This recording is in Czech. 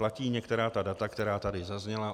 Platí některá ta data, která tady zazněla.